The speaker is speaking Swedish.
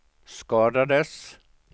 skadades